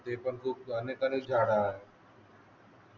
ते पण खूप हानीकारक झाडे आहे